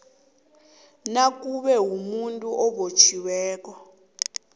nakube umuntu obotjhiweko